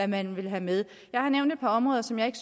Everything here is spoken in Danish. man ville have med jeg har nævnt et par områder som jeg ikke